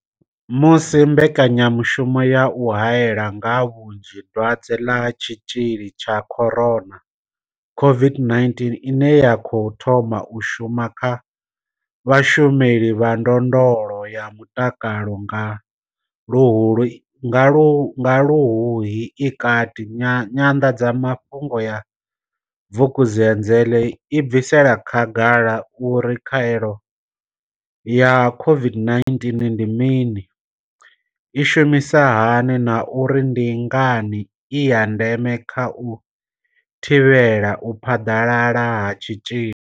Musi mbekanyamushumo ya u haela nga vhunzhi dwadze ḽa tshitzhili tsha corona, COVID-19 ine ya khou thoma u shuma kha vhashumeli vha ndondolo ya mutakalo nga Luhuhi i kati, nyanḓadzamafhungo ya Vukuzenzele i bvisela khagala uri khaelo ya COVID-19 ndi mini, i shumisa hani na uri ndi ngani i ya ndeme kha u thivhela u phaḓalala ha tshitzhili.